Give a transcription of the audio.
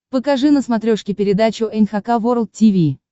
покажи на смотрешке передачу эн эйч кей волд ти ви